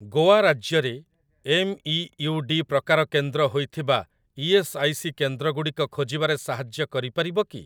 ଗୋଆ ରାଜ୍ୟରେ ଏମ୍ଇୟୁଡି ପ୍ରକାର କେନ୍ଦ୍ର ହୋଇଥିବା ଇ.ଏସ୍. ଆଇ. ସି. କେନ୍ଦ୍ରଗୁଡ଼ିକ ଖୋଜିବାରେ ସାହାଯ୍ୟ କରିପାରିବ କି?